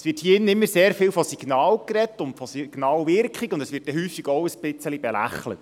Hier drin wird immer sehr viel von Signalen und Signalwirkung gesprochen, und es wird häufig auch etwas belächelt.